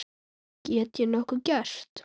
Get ég nokkuð gert?